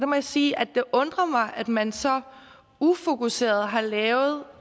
må jeg sige at det undrer mig at man så ufokuseret har lavet